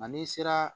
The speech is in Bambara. Nka n'i sera